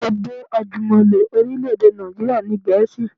Èdè àjùmọ̀lo orílẹ̀-èdè Nàìjíríà ni Gẹ̀ẹ́sì